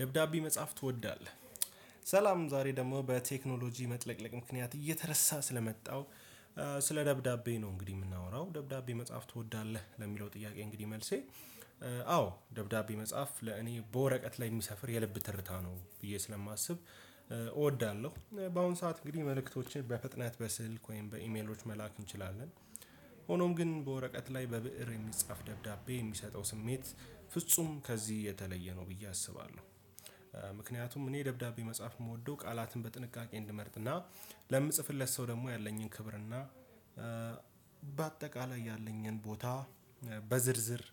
ደብዳቤ መጽሐፍ ትወዳለህ? ሰላም ዛሬ ደግሞ በቴክኖሎጂ መጥለቅለቅ ምክንያት እየተረሳ ስለመጣው። ስለ ደብዳቤ ነው እንግዲህ የምናወራው ደብዳቤ መጽሐፍ ትወዳለህ ለሚለው ጥያቄ እንግዲህ መልሴ ደብዳቤ መጽሐፍ ለእኔ በወረቀት ላይ የሚሰፍር የልብ ትርታ ነው ብዬ ስለማስብ እወዳለሁ። በአሁን ሰዓት እንግዲህ መልእክቶችን በፍጥነት በስልክ ወይም በኢሜሎች መላክ እንችላለን። ሆኖም ግን በወረቀት ላይ በብእር የሚጻፍ ደብዳቤ የሚሰጠው ስሜት ፍጹም ከዚህ የተለየ ነው ብዬ አስባለሁ። ምክንያቱም እኔ ደብዳቤ መጻፍ የምወደው ቃላትን በጥንቃቄ እንድመርጥና ለምጽፍለት ሰው ደግሞ ያለኝን ክብር እና በአጠቃላይ ያለኝን ቦታ በዝርዝር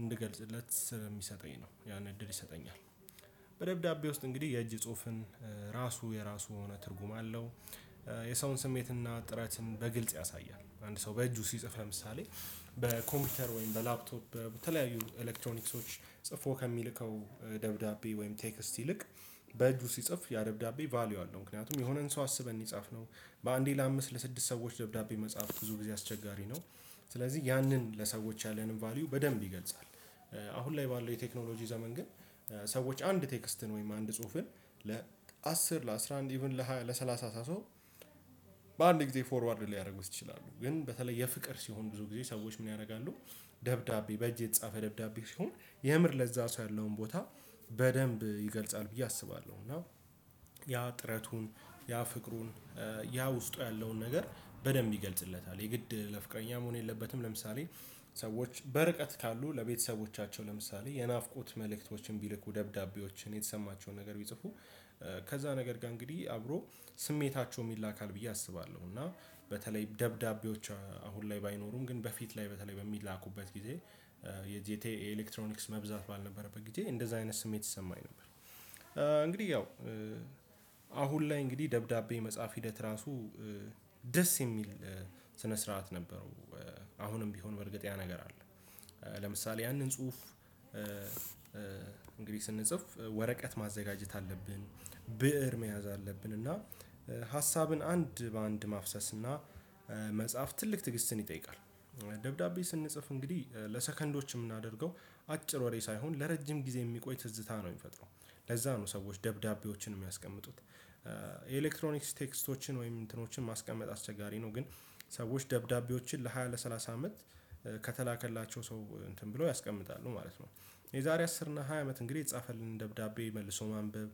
እንድገልጽለት በሚሰጠኝ ነው ያን እድል ይሰጠኛል። በደብዳቤ ውስጥ እንግዲህ የእጅ ጽሁፍን ራሱ የራሱ የሆነ ትርጉም አለው። የሰውን ስሜትና ጥረትን በግልጽ ያሳያል አንድ ሰው በእጁ ሲጽፍ ለምሳሌ በኮምፒውተር ወይም በላፕቶፕ በተለያዩ ኤሌክትሮኒክሶች ጽፎ ከሚልከው ደብዳቤ ወይም ቴክስት ይልቅ በእጁ ሲጽፍ ያደብዳቤ ቫልዩ አለው። ምክንያቱም የሆነን ሰው አስበን የጻፍነው በአንዴ ለአምስት ለስድስት ሰዎች ደብዳቤ መጽሐፍ ብዙ ጊዜ አስቸጋሪ ነው። ስለዚህ ያንን ለሰዎች ያለንን ቫልዩ በደንብ ይገልጻል። አሁን ላይ ባለው የቴክኖሎጂ ዘመን ግን ሰዎች አንድ ቴክስትን ወይም አንድ ጽሁፍን ለአስር ለአስራ አንድ ኢቭን ለሰላሳ ሰው ጊዜ ፎርዋርድ ሊያደርጉት ይችላሉ። ግን በተለይ የፍቅር ሲሆን ብዙ ጊዜ ሰዎች ምን ያደርጋሉ? ደብዳቤ በእጅ የተጻፈ ደብዳቤ ሲሆን የምር ለዛ ሰው ያለውን ቦታ በደንብ ይገልጻል ብዬ አስባለሁ እና ያ ጥረቱን ያ ፍቅሩን ያ ውስጡ ያለውን ነገር በደንብ ይገልጽለታል። የግድ ለፍቃደኛ መሆን የለበትም ለምሳሌ ሰዎች በርቀት ካሉ ለቤተሰቦቻቸው ለምሳሌ የናፍቆት መልእክቶችን ቢልኩ ደብዳቤዎችን የተሰማቸውን ነገር ቢጽፉ። ከዛ ነገር ጋር እንግዲህ አብሮ ስሜታቸውም ይላካል ብዬ አስባለሁ እና በተለይ ደብዳቤዎች አሁን ላይ ባይኖሩም ግን በፊት ላይ በተለይ በሚላኩበት ጊዜ የጄቴ ኤሌክትሮኒክስ መብዛት ባልነበረበት ጊዜ እንደዚህ አይነት ስሜት ይሰማኝ ነበር። እንግዲህ ያው አሁን ላይ እንግዲህ ደብዳቤ መጽሐፍ ሂደት ራሱ ደስ የሚል ስነ ስርዓት ነበረው አሁንም ቢሆን በእርግጥ ያ ነገር አለ። ለምሳሌ ያንን ጽሁፍ እንግዲህ ስንጽፍ ወረቀት ማዘጋጀት አለብን ብእር መያዝ አለብን እና ሀሳብን አንድ በአንድ ማፍሰስ እና መጽሐፍ ትልቅ ትዕግስትን ይጠይቃል። ደብዳቤ ስንጽፍ እንግዲህ ለሰከንዶች የምናደርገው አጭር ወሬ ሳይሆን ለረጅም ጊዜ የሚቆይ ትዝታ ነው የሚፈጥረው። ለዛ ነው ሰዎች ደብዳቤዎችን የሚያስቀምጡት። ኤሌክትሮኒክስ ቴክስቶችን ወይም እንትኖችን ማስቀመጥ አስቸጋሪ ነው ግን ሰዎች ደብዳቤዎችን ለሃያ ለሠላሳ አመት ከተላከላቸው ሰው እንትን ብሎ ያስቀምጣሉ ማለት ነው። የዛሬ አስር እና ሃያ አመት እንግዲህ የተጻፈልን ደብዳቤ መልሶ ማንበብ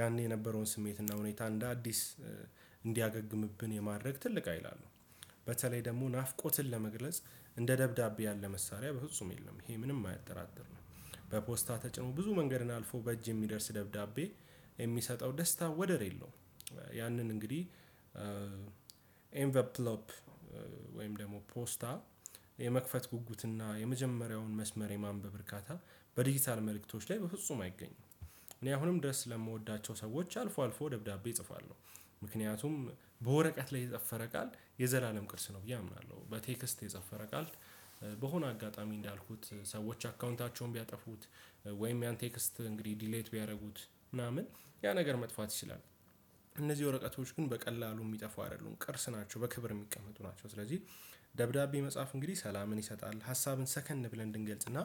ያኔ የነበረውን ስሜት እና ሁኔታ እንደ አዲስ እንዲያገግምብን የማድረግ ትልቅ ሀይል አለው። በተለይ ደግሞ ናፍቆትን ለመግለጽ እንደ ደብዳቤ ያለ መሳሪያ በፍጹም የለም ይሄ ምንም አያጠራጥርም። በፖስታ ተጭኖ ብዙ መንገድን አልፎ በእጅ የሚደርስ ደብዳቤ የሚሰጠው ደስታ ወደር የለውም። ያንን እንግዲህ ኤንቨርፕሎፕ ወይም ደግሞ ፖስታ የመክፈት ጉጉትና የመጀመሪያውን መስመር የማንበብ እርካታ በዲጂታል መልእክቶች ላይ በፍጹም አይገኝም። እኔ አሁንም ድረስ ስለምወዳቸው ሰዎች አልፎ አልፎ ደብዳቤ እጽፋለሁ። ምክንያቱም በወረቀት ላይ የጠፈረ ቃል የዘላለም ቅርስ ነው ብዬ አምናለሁ በቴክስት የጸፈረ ቃል በሆነ አጋጣሚ እንዳልኩት ሰዎች አካውንታቸውን ቢያጠፉት ወይም ያን ቴክስት እንግዲህ ዲሌት ቢያደርጉት ምናምን ያ ነገር መጥፋት ይችላል። እነዚህ ወረቀቶች ግን በቀላሉ የሚጠፋው አይደሉም ቅርስ ናቸው በክብር የሚቀመጡ ናቸው። ስለዚህ ደብዳቤ መጽሐፍ እንግዲህ ሰላምን ይሰጣል ሀሳብን ሰከን ብለን እንድንገልጽና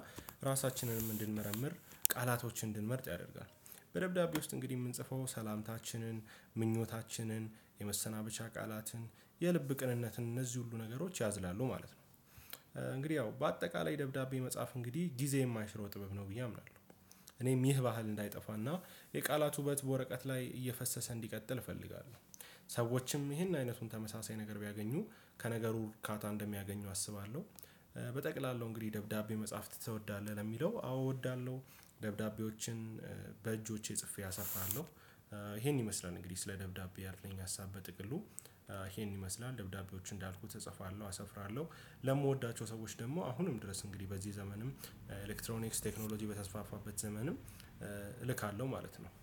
ራሳችንንም እንድንመረምር ቃላቶችን እንድንመርጥ ያደርጋል። በደብዳቤ ውስጥ እንግዲህ የምንጽፈው ሰላምታችንን ምኞታችንን የመሰናበቻ ቃላትን የልብ ቅንነትን እነዚህ ሁሉ ነገሮች ያዝላሉ ማለት ነው። እንግዲህ ያው በአጠቃላይ ደብዳቤ መጻፍ እንግዲህ ጊዜ የማይሽረው ጥበብ ነው ብዬ አምናለሁ። እኔም ይህ ባህል እንዳይጠፋና የቃላት ውበት በወረቀት ላይ እየፈሰሰ እንዲቀጥል እፈልጋለሁ። ሰዎችም ይሄን አይነቱን ተመሳሳይ ነገር ቢያገኙ ከነገሩ እርካታ እንደሚያገኙ አስባለሁ። በጠቅላላው እንግዲህ ደብዳቤ መጽሐፍ ትወዳለህ ለሚለው አዎ እወዳለሁ። ደብዳቤዎችን በእጆቼ ጽፌ አሰፋለሁ። ይሄን ይመስላል እንግዲህ ስለ ደብዳቤ ያለኝ ሀሳብ በጥቅሉ። ይሄን ይመስላል ደብዳቤዎች እንዳልኩት እጽፋለሁ አሰፍራለሁ። ለምወዳቸው ሰዎች ደግሞ አሁንም ድረስ እንግዲህ በዚህ ዘመንም ኤሌክትሮኒክስ ቴክኖሎጂ በተስፋፋበት ዘመንም እልካለሁ ማለት ነው